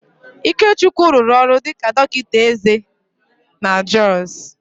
Ikechukwu rụrụ ọrụ dịka dọkịta eze na Jọs